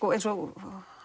eins og